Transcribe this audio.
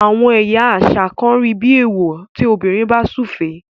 àwọn ẹyà àṣà kán rí bí ewọ tí obìrin bá sufe.